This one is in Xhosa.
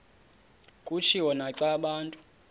kutshiwo naxa abantu